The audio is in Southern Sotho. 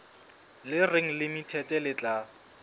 le reng limited le tla